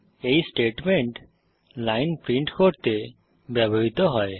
এই statement line print করতে ব্যবহৃত হয়